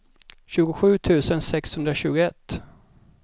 tjugosju tusen sexhundratjugoett